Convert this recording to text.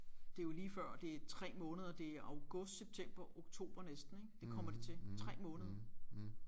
Det er jo lige før det er 3 måneder det er august september oktober næsten ik det kommer det til 3 måneder